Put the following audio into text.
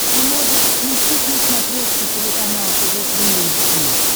ты можешь включить на смотрешке телеканал тв три эйч ди